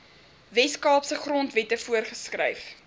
weskaapse grondwette voorgeskryf